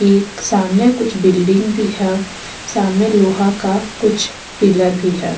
एक सामने कुछ बिल्डिंग भी है सामने लोहा का कुछ पिलर भी है।